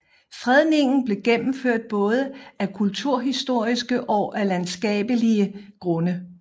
Fredningen blev gennemført både af kulturhistoriske og af landskabelige grunde